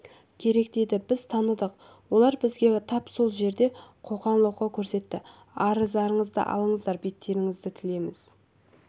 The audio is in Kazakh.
керек деді біз таныдық олар бізге тап сол жерде қоқаң-лоққы көрсетті арыздарыңды алыңдар беттеріңді тілеміз